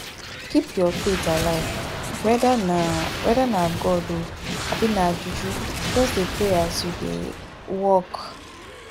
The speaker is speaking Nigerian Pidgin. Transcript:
keep your faith alive weda na weda na god o abi na juju just dey pray as you dey um work